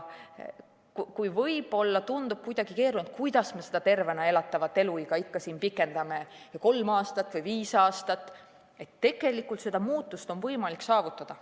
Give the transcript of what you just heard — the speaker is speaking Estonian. Kui võib-olla tundub kuidagi keeruline, kuidas me seda tervena elatud eluiga ikka pikendame kolm või viis aastat, siis tegelikult on seda muutust võimalik saavutada.